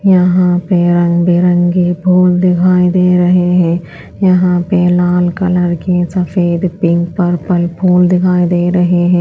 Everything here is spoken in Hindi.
यहाँ पे रंग-बिरंगी फूल दिखाई दे रहे है यहाँ पे लाल कलर की सफेद पिंक पर्पल फूल दिखाई दे रहे है।